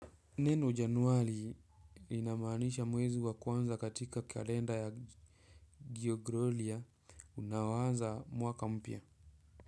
Neno januari inamaanisha mwezi wa kwanza katika kalenda ya Gregorian unaoanza mwaka mpya.